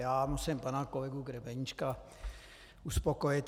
Já musím pana kolegu Grebeníčka uspokojit.